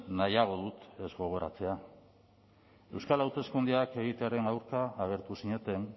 nahiago dut ez gogoratzea euskal hauteskundeak egitearen aurka agertu zineten